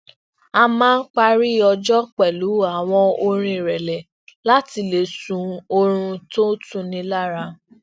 a máa ń parí ọjó pẹlu awọn orin irẹlẹ láti le sun oorun tó ń tuni lára